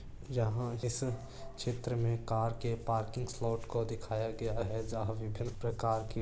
जहा इस चित्र मै कार के पार्किंग स्लॉट को दिखाया गया है विभिन्न परकार के--